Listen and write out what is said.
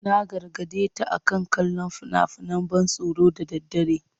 Na gargade ta akan kallon fina-finan ban tsoro da daddare.